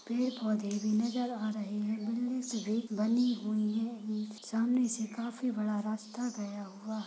पेड़ पौधे भी नजर आ रहे हैं से बनी हुई है सामने से काफी बड़ा रास्ता गया हुआ --